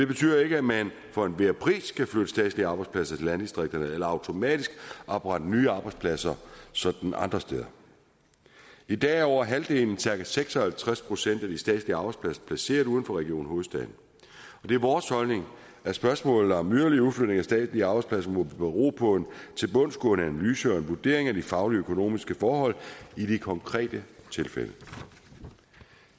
betyder ikke at man for enhver pris skal flytte statslige arbejdspladser til landdistrikterne eller automatisk oprette nye arbejdspladser sådan andre steder i dag er over halvdelen cirka seks og halvtreds procent af de statslige arbejdspladser placeret uden for region hovedstaden det er vores holdning at spørgsmålet om yderligere udflytning af statslige arbejdspladser må bero på en tilbundsgående analyse og en vurdering af de faglige og økonomiske forhold i de konkrete tilfælde